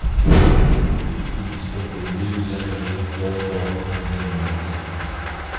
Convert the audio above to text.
афина сколько людей взяли в долго в сбербанке